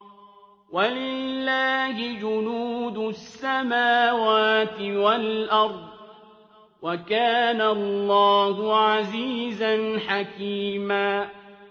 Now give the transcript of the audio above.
وَلِلَّهِ جُنُودُ السَّمَاوَاتِ وَالْأَرْضِ ۚ وَكَانَ اللَّهُ عَزِيزًا حَكِيمًا